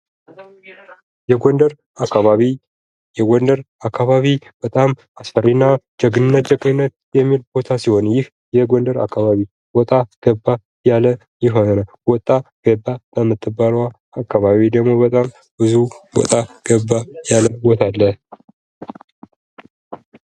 የጎንደር አካባቢ የጎንደር አካባቢ በጣም አስፈሪና ጀግንነት የሚል ቦታ ሲሆን ይህ የጎንደር አካባቢ ወጣ ገባ ያለ ቦታ ነው። ወጣ ገባ የምትባለዋ አካባቢ ደግሞ በጣም ብዙ ገበያ ያለቦታ አለ።